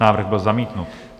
Návrh byl zamítnut.